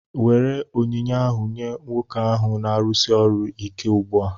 Nwere onyinye ahu nye nwoke ahụ na-arụsi ọrụ ike ugbua!